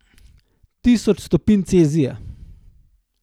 Tisoč stopinj celzija.